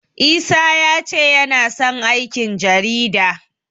Isa ya ce yana son aikin jarida.